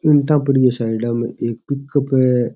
इटा पड़ी है साइडा में एक पिकउप --